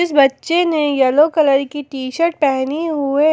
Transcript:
इस बच्चे ने येलो कलर की टी_शर्ट पहनी हुए--